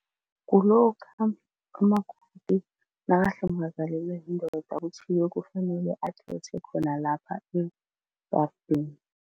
Kulokha umakoti nakahlongakalelwe yindoda kuthiwe kufanele akhethe khona lapha ejarideni.